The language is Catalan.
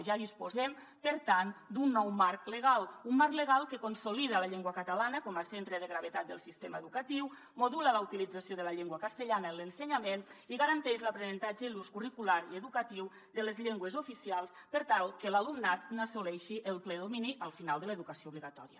ja disposem per tant d’un nou marc legal un marc legal que consolida la llengua catalana com a centre de gravetat del sistema educatiu modula la utilització de la llengua castellana en l’ensenyament i garanteix l’aprenentatge i l’ús curricular i educatiu de les llengües oficials per tal que l’alumnat n’assoleixi el ple domini al final de l’educació obligatòria